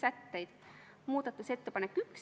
Aitäh!